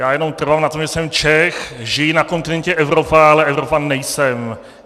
Já jenom trvám na tom, že jsem Čech, žiji na kontinentě Evropa, ale Evropan nejsem.